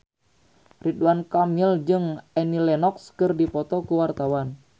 Ridwan Kamil jeung Annie Lenox keur dipoto ku wartawan